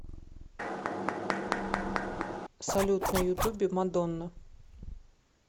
салют на ютубе мадонна